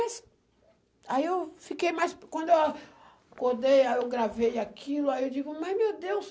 Aí eu fiquei mais... Quando eu acordei, eu gravei aquilo, aí eu digo, mas, meu Deus...